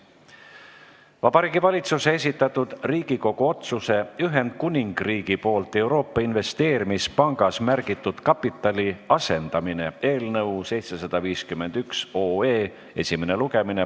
Vabariigi Valitsuse esitatud Riigikogu otsuse "Ühendkuningriigi poolt Euroopa Investeerimispangas märgitud kapitali asendamine" eelnõu 751 esimene lugemine.